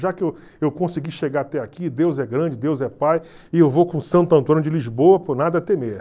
Já que eu eu consegui chegar até aqui, Deus é grande, Deus é Pai, e eu vou com o Santo Antônio de Lisboa, por nada temer.